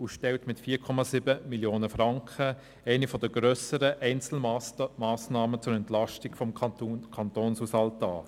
Diese Massnahme stellt mit 4,7 Mio. Franken eine der grösseren Einzelmassnahmen zur Entlastung des Kantonshaushaltes dar.